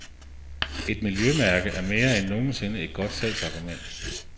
Et miljømærke er mere end nogen sinde et godt salgsargument.